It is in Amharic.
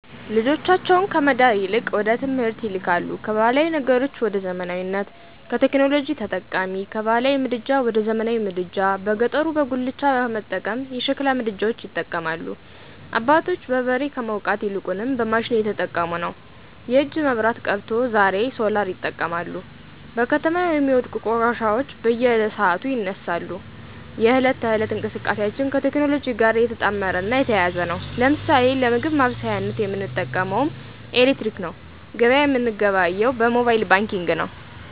ልጆቻቸውን ከመዳር ይልቅወደትምህርት ይልካሉ ካባህላዊ ነገሮች ወደዘመናዊነት፣ ቴክኖሎጂ ተጠቃሚ፣ ከባህላዊ ምድጃ ወደዘመናዊ ምድጃ በገጠሩበጉላቻ ከመጠቀም የሸሕላ ምድጃዎች ይጠቀማሉ። አባቶች በበሬ ከመዉቃት ይልቁንም በማሽን እየተጠቀሙነዉ። የእጅ መብራት ቀርቶ ዛሬሶላርይጠቀማሉ። በከተማው የሚወድቁ ቆሻሻዎች በየሰዓቱ ይነሳሉ፣ የህለት ተህለት እንቅስቃሴአችን ከቴክኖሎጅእ ጋር የተጣመረ እና የተያያዘ ነዉ። ለምሳሌ ለምግብ ማበሳሳያነት የምንጠቀመዉምኤሌክትረመክነዉ ገበያ የምንገበያየዉ በሞባየል ባንኪግ ነዉ።